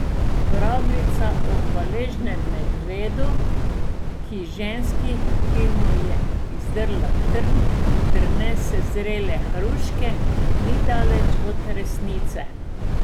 Pravljica o hvaležnem medvedu, ki ženski, ki mu je izdrla trn, prinese zrele hruške, ni daleč od resnice.